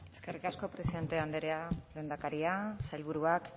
eskerrik asko presidente andrea lehendakaria sailburuak